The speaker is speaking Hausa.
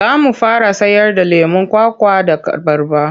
Za mu fara sayarda lemon kwakwa da abarba.